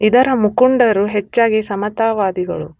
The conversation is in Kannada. ಇದರ ಮುಖಂಡರು ಹೆಚ್ಚಾಗಿ ಸಮತಾವಾದಿಗಳು.